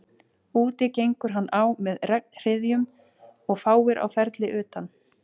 Úti gengur hann á með regnhryðjum og fáir á ferli utan